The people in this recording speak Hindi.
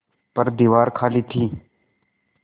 पर दीवार खाली थी